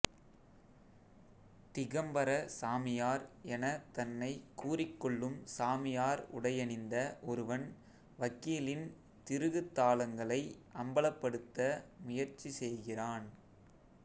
திகம்பர சாமியார் எனத் தன்னைக் கூறிக்கொள்ளும் சாமியார் உடையணிந்த ஒருவன் வக்கீலின் திருகுதாளங்களை அம்பலப் படுத்த முயற்சி செய்கிறான்